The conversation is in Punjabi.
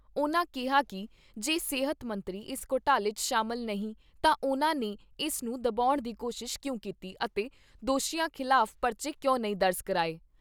ਉਨ੍ਹਾਂ ਕਿਹਾ ਕਿ ਜੇ ਸਿਹਤ ਮੰਤਰੀ ਇਸ ਘੋਟਾਲੇ 'ਚ ਸ਼ਾਮਲ ਨਹੀਂ ਤਾਂ ਉਨ੍ਹਾਂ ਨੇ ਇਸ ਨੂੰ ਦਬਾਉਣ ਦੀ ਕੋਸ਼ਿਸ਼ ਕਿਉਂ ਕੀਤੀ ਅਤੇ ਦੋਸ਼ੀਆਂ ਖਿਲਾਫ਼ ਪਰਚੇ ਕਿਉਂ ਨੀ ਦਰਜ਼ ਕਰਾਏ।